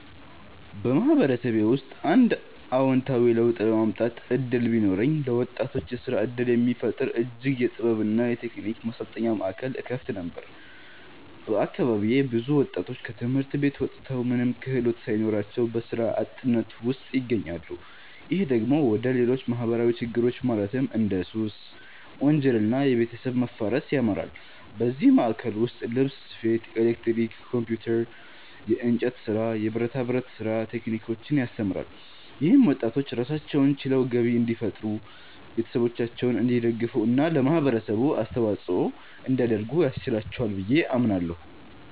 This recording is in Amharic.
በማህበረሰቤ ውስጥ አንድ አዎንታዊ ለውጥ የማምጣት እድል ቢኖረኝ፣ ለወጣቶች የስራ እድል የሚፈጥር የእጅ ጥበብ እና የቴክኒክ ማሰልጠኛ ማዕከል እከፍት ነበር። በአካባቢዬ ብዙ ወጣቶች ከትምህርት ቤት ወጥተው ምንም ክህሎት ሳይኖራቸው በስራ አጥነት ውስጥ ይገኛሉ። ይህ ደግሞ ወደ ሌሎች ማህበራዊ ችግሮች ማለትም እንደ ሱስ፣ ወንጀል እና የቤተሰብ መፋረስ ያመራል። በዚህ ማዕከል ውስጥ ልብስ ስፌት፣ ኤሌክትሪክ፣ ኮምፒውተር፣ የእንጨት ስራ፣ የብረታ ብረት ስራ ቴክኒኮችን ያስተምራል። ይህም ወጣቶች ራሳቸውን ችለው ገቢ እንዲፈጥሩ፣ ቤተሰቦቻቸውን እንዲደግፉ እና ለማህበረሰቡ አስተዋጽኦ እንዲያደርጉ ያስችላቸዋል ብዬ አምናለሁ።